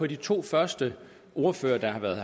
de to første ordførere der har været